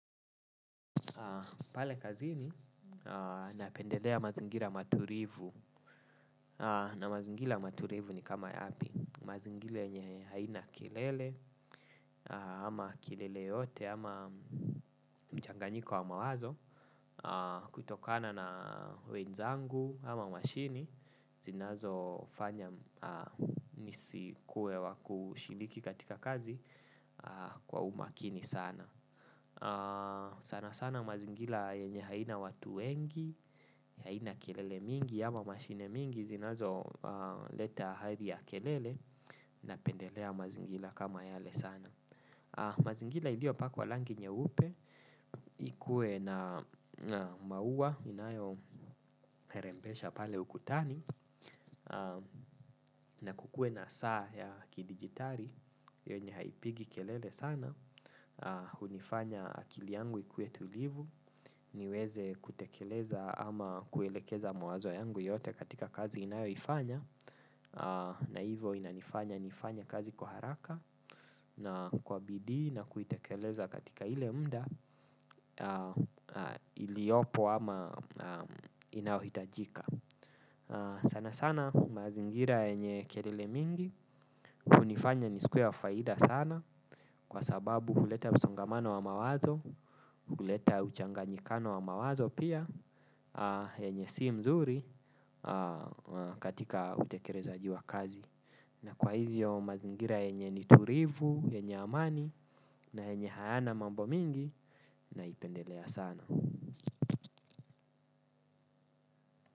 Pale kazini napendelea mazingira maturivu na mazingira maturivu ni kama yapi mazingira yenye haina kelele ama kelele yote ama mchanganyiko wa mawazo kutokana na wenzangu ama mashini zinazo fanya nisikuwe wa kushiriki katika kazi kwa umakini sana. Sana sana mazingila yenye haina watu wengi. Haina kelele mingi ama mashine mingi zinazo leta hadi ya kelele. Napendelea mazingila kama yale sana. Mazingila ilio pakwa langi nyeupe. Ikue na maua inayorembesha pale ukutani. Na kukuwe na saa ya kidigitali yenye haipigi kelele sana. Hunifanya akili yangu ikuwe tulivu. Niweze kutekeleza ama kuelekeza mawazo yangu yote katika kazi inayo ifanya. Naivo inanifanya nifanye kazi kwa haraka. Na kwa bidii na kuitekeleza katika ile muda iliopo ama inaohitajika sana sana mazingira yenye kelele mingi hunifanya nisikuwe wa faida sana. Kwa sababu huleta misongamano wa mawazo. Huleta uchanganyikano wa mawazo pia wenye si mzuri katika utekerezaji wa kazi. Na kwa hivyo mazingira yenye niturivu, yenye amani na yenye hayana mambo mingi naipendelea sana.